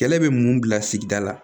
Kɛlɛ bɛ mun bila sigida la